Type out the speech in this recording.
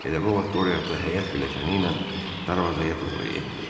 Elə bu vaxt Qoreata həyət filəkəni ilə darvazaya doğru endi.